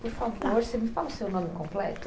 Por favor, você me fala o seu nome completo.